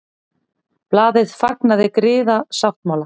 Blaðið fagnaði griðasáttmála